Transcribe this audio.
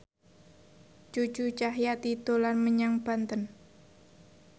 Cucu Cahyati dolan menyang Banten